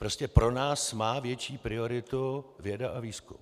Prostě pro nás má větší prioritu věda a výzkum.